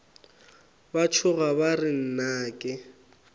ba tšhoga ba re nnake